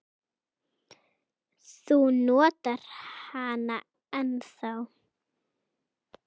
Þú notar hana ennþá.